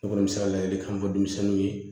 Ne kɔni bɛ se ka ladilikan fɔ denmisɛnninw ye